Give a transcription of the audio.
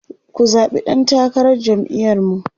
ku zaɓi ɗan takarar jam'iyar mu!